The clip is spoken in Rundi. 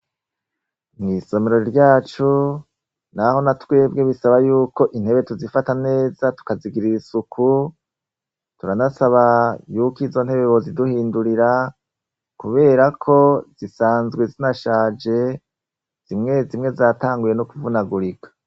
Mw'Isomero ryacu, naho natwebwe bisaba yuko intebe tuzifata neza tukazigira isuku, turanasaba yuko izo ntebe boziduhindurira, kubera ko zisanzwe zinashaje, zimwe zimwe zatanguye no kuvunagurika.